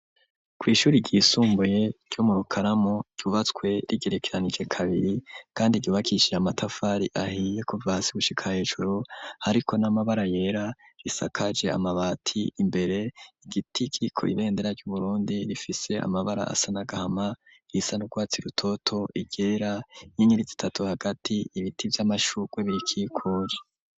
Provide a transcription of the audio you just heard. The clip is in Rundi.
ku ishuri ryisumbuye ryo mu Rukaramu ryubatswe rigerekeranijwe kabiri kandi ryubakishije amatafari ahiye kuva hasi gushika hejuru ariko n'amabara yera risakaje amabati imbere igiti kiriko ibendera ryu Burundi rifise amabara asa n'agahama risa n'urwatsi rutoto iryera inyenyeri zitatu hagati ibiti vy'amashurwe bihakikuje.